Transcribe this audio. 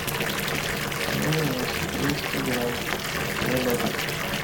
майонез двести грамм слобода